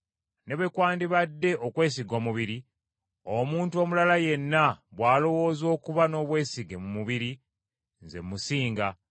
Ne bwe kwandibadde okwesiga omubiri, omuntu omulala yenna bw’alowooza okuba n’obwesige mu mubiri, nze musinga.